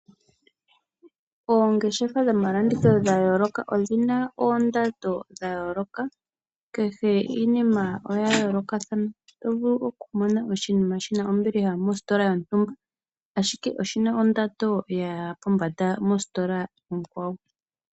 Oongeshefa dhomalanditho dha yooloka odhi na oondando dha yooloka. Kehe iinima oya yoolokathana , oto vulu okumona oshinima shi na ombiliha mositola yontumba, ashike oshi na ondando ya ya pombanda mositola onkwawo.